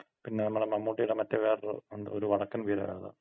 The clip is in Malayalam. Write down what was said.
പിന്നെ നമ്മുടെ മമ്മൂട്ടിടെ മറ്റെ വേറൊര് ഒണ്ട്. ഒര് വടക്കൻ വീര ഗാഥ.